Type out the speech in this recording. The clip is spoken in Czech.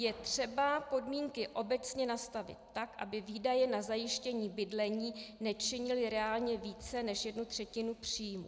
Je třeba podmínky obecně nastavit tak, aby výdaje na zajištění bydlení nečinily reálně více než jednu třetinu příjmů.